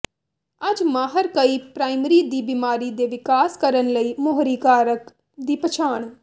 ਅੱਜ ਮਾਹਰ ਕਈ ਪ੍ਰਾਇਮਰੀ ਦੀ ਬਿਮਾਰੀ ਦੇ ਵਿਕਾਸ ਕਰਨ ਲਈ ਮੋਹਰੀ ਕਾਰਕ ਦੀ ਪਛਾਣ